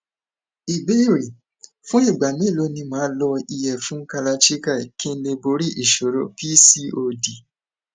ìbéèrè fún ìgbà mélòó ni ma lo iyefun kalachikai kí n lè borí ìṣòro pcod